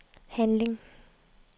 handling